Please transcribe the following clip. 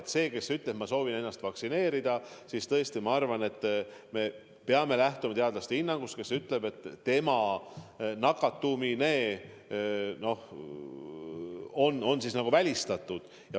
Kui inimene ütleb, et ma soovin lasta ennast vaktsineerida, siis me peame lähtuma teadlaste hinnangust, kes ütlevad, et tema nakatumine on välistatud.